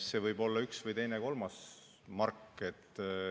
See võib olla üks, teine või kolmas mark.